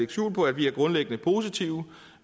skjul på at vi er grundlæggende positive